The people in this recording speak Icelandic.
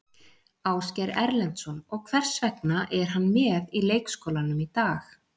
Ásgeir Erlendsson: Og hvers vegna er hann með í leikskólanum í dag?